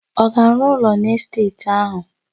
Ọ ga-arụ ụlọ n'esteeti áhụ̀?